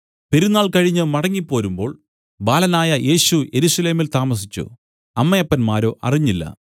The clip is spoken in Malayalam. പെരുന്നാൾ കഴിഞ്ഞു മടങ്ങിപ്പോരുമ്പോൾ ബാലനായ യേശു യെരൂശലേമിൽ താമസിച്ചു അമ്മയപ്പന്മാരോ അറിഞ്ഞില്ല